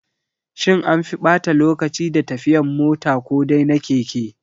Shin anfi ɓata lokaci da tafiyan mota ko dai na keke?